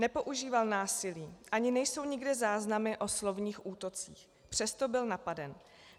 Nepoužíval násilí, ani nejsou nikde záznamy o slovních útocích, přesto byl napaden.